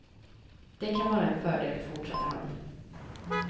Det kan vara en fördel fortsatte han.